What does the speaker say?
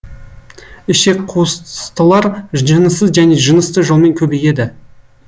ішекқуыстылар жыныссыз және жынысты жолмен көбейеді